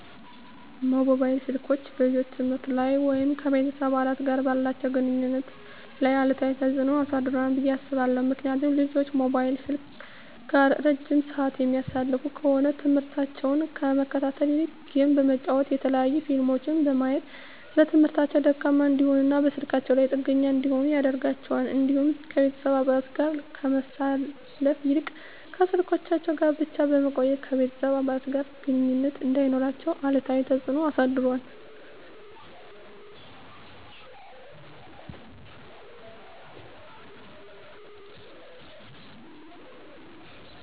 መሞባይል ስልኮች በልጆች የትምህርት ላይ ወይም ከቤተሰብ አባላት ጋር ባላቸው ግንኙነት ላይ አሉታዊ ተጽዕኖ አሳድሯል ብየ አስባለሁ። ምክንያቱም ልጆች ሞባይል ስልክ ጋር እረጅም ስዓት የሚያሳልፉ ከሆነ ትምህርሞታቸውን ከመከታተል ይልቅ ጌም በመጫወት የተለያዩ ፊልሞችን በማየት በትምህርታቸው ደካማ እንዲሆኑና በስልካቸው ላይ ጥገኛ እንዲሆኑ ያደርጋቸዋል። እንዲሁም ከቤተሰብ አባለት ጋር ከማሳለፍ ይልቅ ከስልኮቻቸው ጋር ብቻ በመቆየት ከቤተሰብ አባለት ጋር ግንኙነት እንዳይኖራቸው አሉታዊ ተፅዕኖ አሳድሯል።